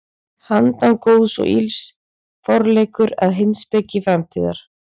Handan góðs og ills: Forleikur að heimspeki framtíðar.